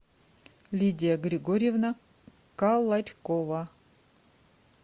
лидия григорьевна каларькова